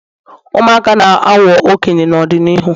ụmụaka na-aghọ okenye n'ọdịnihu